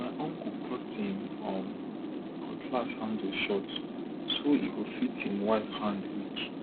my uncle cut him um cutlass handle short so e go fit him wife hand reach